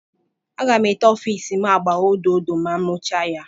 Aga m ete ọfiisi m agba odo odo ma m rụchaa ya.